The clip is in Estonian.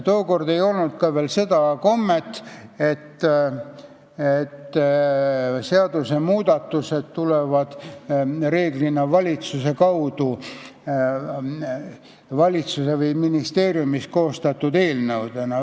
Tookord ei olnud ka veel seda kommet, et seadusmuudatused tulevad reeglina valitsuse kaudu, valitsuses või ministeeriumis koostatud eelnõudena.